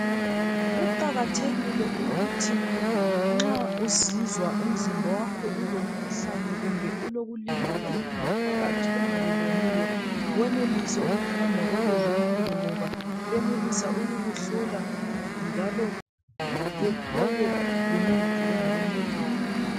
Kuqakathekile ukuthi nxa uzizwa umzimba wakho ulomkhuhlane kumbe ulokulimala okungaphakathi ongakuboniyo wenelise ukuhamba kwabezempilo ngoba benelisa ukukuhlola njalo bethole lemithi engakuncedisa